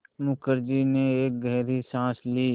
मुखर्जी ने एक गहरी साँस ली